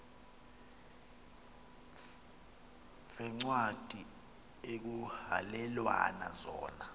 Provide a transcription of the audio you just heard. veencwadi ekuhhalelwana zona